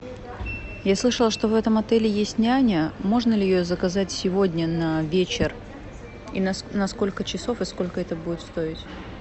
я слышала что в этом отеле есть няня можно ли ее заказать сегодня на вечер и на сколько часов и сколько это будет стоить